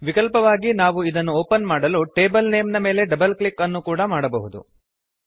ವಿಕಲ್ಪವಾಗಿ ನಾವು ಇದನ್ನು ಓಪನ್ ಮಾಡಲು ಟೇಬಲ್ ನೇಮ್ ನ ಮೇಲೆ ಡಬಲ್ ಕ್ಲಿಕ್ ಅನ್ನು ಕೂಡ ಮಾಡಬಹುದು